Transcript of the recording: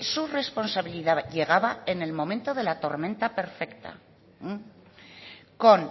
su responsabilidad llegaba en el momento de la tormenta perfecta con